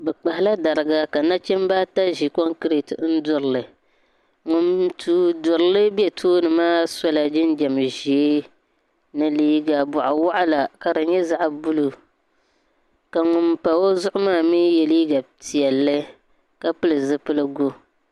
Bɛ kpahila dariga ka nachimba ʒi konkireti n-duri li ŋun tuui durili be tooni maa sola jinjam ʒee ni liiga bɔɣ'waɣila ka di nyɛ zaɣ'buluu ka ŋun pa o zuɣu maa mi ye liiga piɛlli ka pili zipiligu.